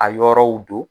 A yɔrɔw don